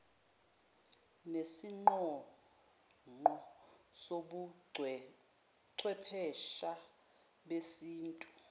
nesiqonqo sobuchwephesha besintu